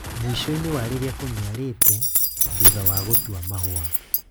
Mwĩshoinĩ wa rĩrĩa kũniarite, thutha wa gũtua maũa.